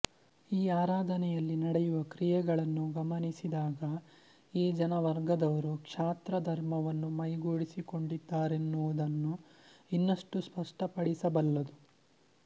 ಈ ಆರಾಧನೆಯಲ್ಲಿ ನಡೆಯುವ ಕ್ರಿಯೆಗಳನ್ನು ಗಮನಿಸಿದಾಗ ಈ ಜನವರ್ಗದವರು ಕ್ಷಾತ್ರಧರ್ಮವನ್ನು ಮೈಗೂಡಿಸಿಕೊಂಡಿದ್ದರೆನ್ನುವುದನ್ನು ಇನ್ನಷ್ಟೂ ಸ್ಪಷ್ಟಪಡಿಸಬಲ್ಲದು